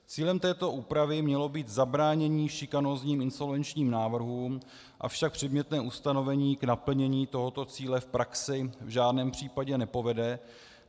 Cílem této úpravy mělo být zabránění šikanózním insolvenčním návrhům, avšak předmětné ustanovení k naplnění tohoto cíle v praxi v žádném případě nepovede.